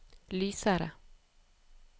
lysere